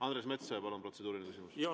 Andres Metsoja, palun, protseduuriline küsimus!